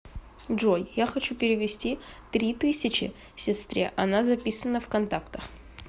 джой я хочу перевести три тысячи сестре она записана в контактах